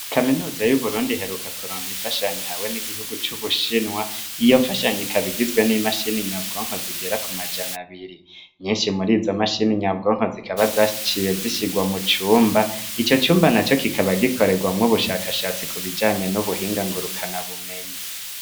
Kaminuza y'uburundi heruka kuronka ifashanyi hawe n'igihugu c'ubushinwa, iyo fashanye ikabigizwe n'imashini nyabwonko zigera ku majana abiri, nyinshi muri izo mashini nyabwonko zikaba zaciye zishirwa mu cumba ico cumba na co kikaba gikorerwamwo ubushakashatsi ku bijanye n'ubuhingangurukana bumenyi.